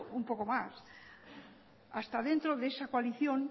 un poco más hasta dentro de esa coalición